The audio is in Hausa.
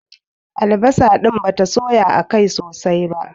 Albasa ɗin bata soya akai sosai ba.